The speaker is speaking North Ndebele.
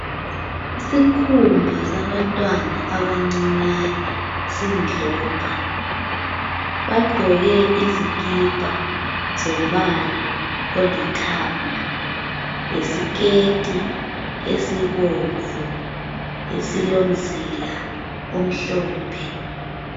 Isikhumba sabantwana abancinyane silomdlopha, bagqoke izikipa zombala olithanga lesiketi esibomvu esilomzila omhlophe.